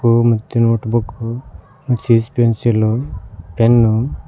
ತ್ತು ಮತ್ತೆ ನೊಟಬೂಕ್ಕು ಸಿಸಪೆನ್ಸಿಲು ಪೆನ್ನು--